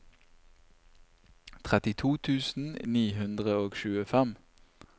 trettito tusen ni hundre og tjuefem